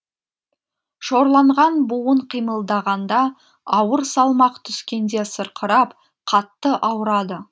шорланған буын қимылдағанда ауыр салмақ түскенде сырқырап қатты ауырады